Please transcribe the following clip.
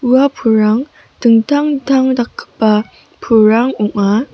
ua pulrang dingtang dingtang dakgipa pulrang ong·a.